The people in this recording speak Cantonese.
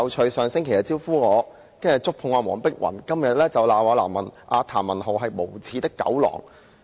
他上星期"招呼"我，然後觸碰黃碧雲議員，到今天又罵譚文豪議員是"無耻的狗狼"。